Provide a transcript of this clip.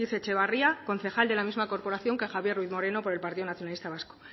etxebarria concejal de la misma corporación que javier ruiz moreno por el partido nacionalista vasco